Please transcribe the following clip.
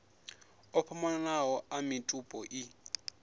o fhambananaho a mitupo i